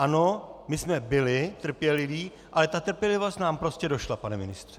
Ano, my jsme byli trpěliví, ale ta trpělivost nám prostě došla, pane ministře.